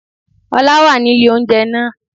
Ọlá wà nílé oúnjẹ náà